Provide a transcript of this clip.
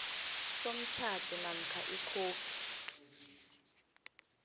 somtjhado namkha ikhophi